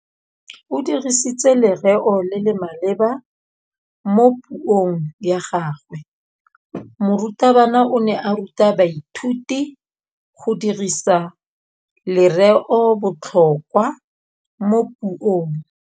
O dirisitse lerêo le le maleba mo puông ya gagwe. Morutabana o ne a ruta baithuti go dirisa lêrêôbotlhôkwa mo puong.